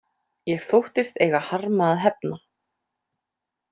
Ég þóttist eiga harma að hefna.